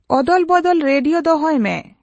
ᱚᱫᱚᱞᱵᱚᱫᱚᱞ radio ᱫᱚᱦᱚᱭ ᱢᱮ